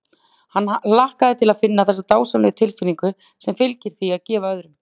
Hann hlakkaði til að finna þessa dásamlegu tilfinnigu sem fylgir því að gefa öðrum.